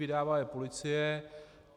Vydává je policie.